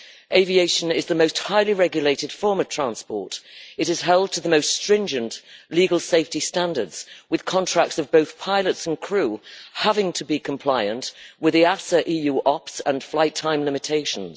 Aviation is the most highly regulated form of transport. It is held to the most stringent legal safety standards with contracts of both pilots and crew having to be compliant with EASA EU OPS and flight time limitations.